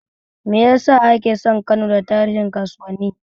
Me ya sa aka san Kano da tarin kasuwanni?